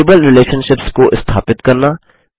table relationships को स्थापित करना